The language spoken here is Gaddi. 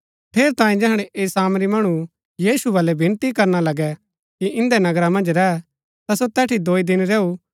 ठेरैतांये जैहणै ऐह सामरी मणु यीशु बलै विनती करणा लगै कि इन्दै नगरा मन्ज रैह ता सो तैठी दोई दिन रैऊ